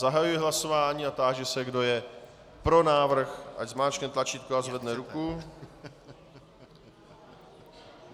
Zahajuji hlasování a táži se, kdo je pro návrh, ať zmáčkne tlačítko a zvedne ruku.